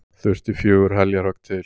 Þurfti fjögur heljarhögg til.